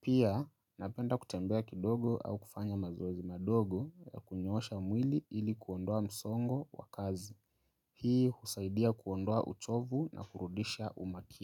Pia, napenda kutembea kidogo au kufanya mazoezi madogo ya kunyosha mwili ili kuondoa msongo wa kazi. Hii husaidia kuondoa uchovu na kurudisha umakini.